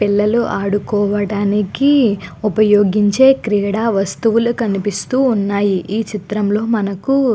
పిల్లలు ఆడుకోవడానికి ఉపయోగించే క్రీడా వస్తువులు కనిపిస్తూ ఉన్నాయి. ఈ చిత్రం లో మనకు --